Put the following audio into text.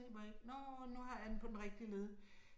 Må jeg ikke, nåh nu har jeg den på den rigtige led